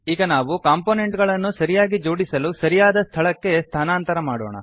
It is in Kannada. ಈಗ ನಾವು ಕಂಪೊನೆಂಟ್ ಗಳನ್ನು ಸರಿಯಾಗಿ ಜೋಡಿಸಿಡಲು ಸರಿಯಾದ ಸ್ಥಳಕ್ಕೆ ಸ್ಥಾನಾಂತರ ಮಾಡೋಣ